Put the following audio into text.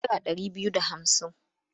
Naira ɗari biyu da hamsin?